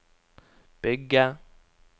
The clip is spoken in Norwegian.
bygge